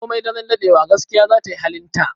Komai daren daɗewa, gaskiya za ta yi halinta.